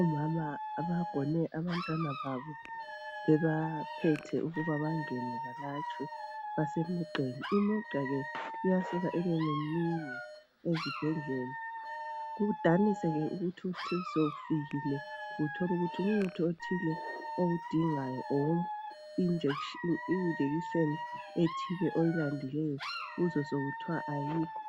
Omama bagone abantwana babo, bebaphethe ukuba bangene balatshwe, basemzileni. Imizila iyasika ibe minengi ezibhedlela kudanise ke ukuthi usufikile uthole ukuthi umuthi othile owudingayo kumbe ijekiseni ethile oyilandileyo uzwe sekuthiwa ayikho,